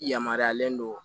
Yamaruyalen don